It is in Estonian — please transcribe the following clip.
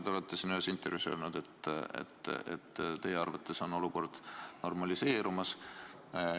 Te olete ühes intervjuus öelnud, et teie arvates on olukord juba normaliseerumas.